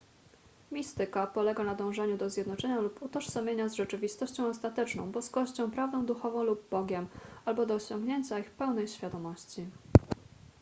mistyka polega na dążeniu do zjednoczenia lub utożsamienia z rzeczywistością ostateczną boskością prawdą duchową lub bogiem albo do osiągnięcia ich pełnej świadomości